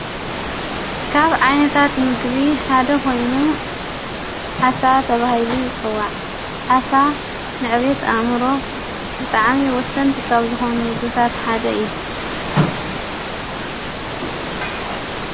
ካብ ዓይነታት ምግቢ ሓደ ኾይኑ ዓሳ ተብሂሊ ጸዋዕ ዓሳ ንዕቤት ኣምሮ ብጥዓሚ ወሠንቲ ኻብ ዝኾኑ ምግርታት ሓደ እዩ::